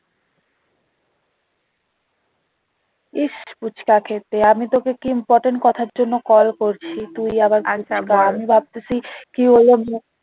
ইশ ফুচকা খেতে আমি তোকে কি important কথার জন্য call করছি তুই আবার আমি ভাবতেছি কি হলো,